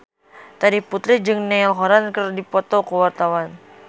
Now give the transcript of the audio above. Terry Putri jeung Niall Horran keur dipoto ku wartawan